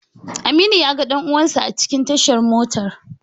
Aminu yaga dan uwansa a cikin tashar motar